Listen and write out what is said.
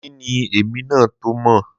Òní ni èmi náà tó mọ̀